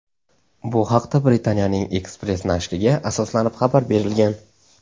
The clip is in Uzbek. Bu haqda Britaniyaning "Express" nashriga asoslanib xabar berilgan.